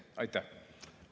Aitäh!